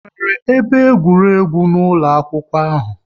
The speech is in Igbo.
E nwere ebe egwuregwu n'ụlọ akwụkwọ ahụ?